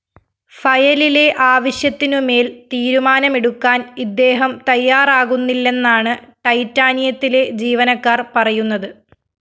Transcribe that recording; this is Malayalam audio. ഫയലിലെ ആവശ്യത്തിനുമേല്‍ തീരുമാനമെടുക്കാന്‍ ഇദ്ദേഹം തയ്യാറാകുന്നില്ലെന്നാണ് ടൈറ്റാനിയത്തിലെ ജീവനക്കാര്‍ പറയുന്നത്